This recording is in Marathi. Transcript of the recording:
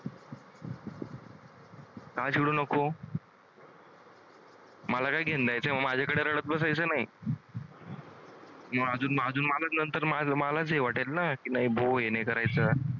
का चिडू नको? मला काय माझ्याकडे रडत बसायचं नाही. मलाच हे वाटेल ना की नाही भाऊ हे नाही करायचं.